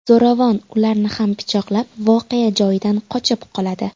Zo‘ravon ularni ham pichoqlab, voqea joyidan qochib qoladi.